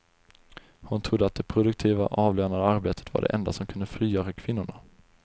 Hon trodde att det produktiva, avlönade arbetet var det enda som kunde frigöra kvinnorna.